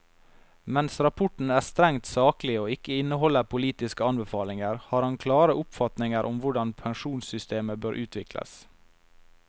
Mens rapporten er strengt saklig og ikke inneholder politiske anbefalinger, har han klare oppfatninger om hvordan pensjonssystemer bør utvikles.